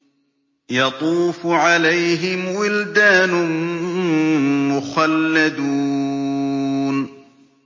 يَطُوفُ عَلَيْهِمْ وِلْدَانٌ مُّخَلَّدُونَ